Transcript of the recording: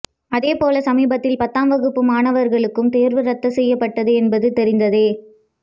அதேபோல சமீபத்தில் பத்தாம் வகுப்பு மாணவர்களுக்கும் தேர்வு ரத்து செய்யப்பட்டது என்பது தெரிந்ததே